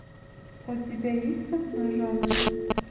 у тебя есть обнаженная